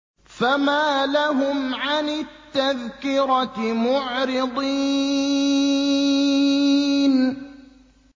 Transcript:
فَمَا لَهُمْ عَنِ التَّذْكِرَةِ مُعْرِضِينَ